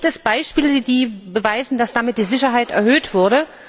Gibt es Beispiele, die beweisen, dass damit die Sicherheit erhöht wurde?